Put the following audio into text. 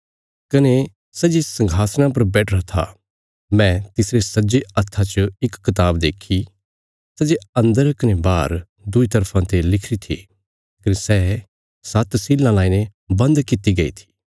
कने सै जे संघासणा पर बैठिरा था मैं तिसरे सज्जे हत्था च इक कताब देक्खी सै जे अन्दर कने बाहर दुईं तरफा ते लिखिरी थी कने सै सात्त सीलां लाईने बन्द कित्ती गई थी